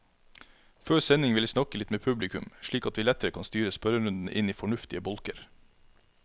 Før sending vil jeg snakke litt med publikum, slik at vi lettere kan styre spørrerundene inn i fornuftige bolker.